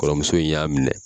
Kɔrɔmuso in y'a minɛ.